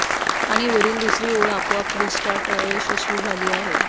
आणि वरील दुसरी ओळ आपोआप रीस्टार्ट अयशस्वी झाले आहे